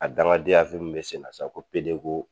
A dangadenya min bɛ senna sisan ko PD ko.